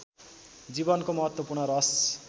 जीवनको महत्त्वपूर्ण रस